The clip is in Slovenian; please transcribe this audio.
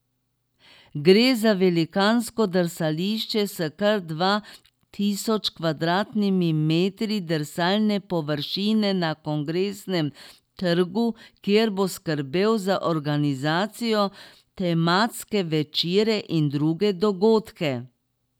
Gre za velikansko drsališče s kar dva tisoč kvadratnimi metri drsalne površine na Kongresnem trgu, kjer bo skrbel za organizacijo, tematske večere in druge dogodke.